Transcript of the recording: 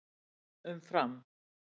Um Fram: